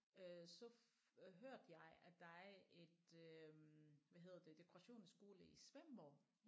Øh så øh hørte jeg at der er et øh hvad hedder det dekorationsskole i Svendborg